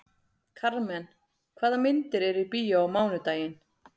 Karmen, hvaða myndir eru í bíó á mánudaginn?